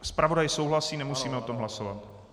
Zpravodaj souhlasí, nemusíme o tom hlasovat.